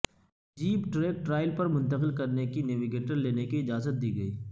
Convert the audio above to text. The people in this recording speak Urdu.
جیپ ٹریک ٹرائل پر منتقل کرنے کی نےوگیٹر لینے کی اجازت دی گئی